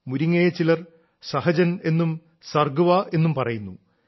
മുരിങ്ങയെ ചിലർ സഹജൻ എന്നും സർഗവാ എന്നും പറയുന്നു